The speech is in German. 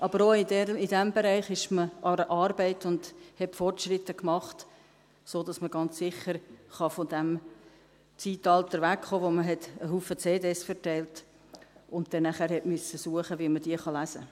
Aber auch in diesem Bereich ist man an der Arbeit und hat Fortschritte gemacht, sodass man ganz sicher von diesem Zeitalter wegkommen kann, in dem man viele CDs verteilte und nachher suchen musste, wie man sie lesen kann.